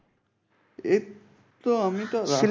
এই তো আমি তো